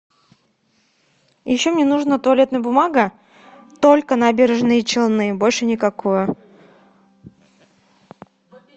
еще мне нужно туалетная бумага только набережные челны больше никакую